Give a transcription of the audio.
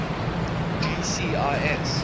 gcis